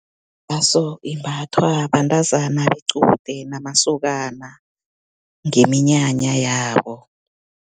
Iraso, imbathwa bentazana bequde namasokana, ngeminyanya yabo.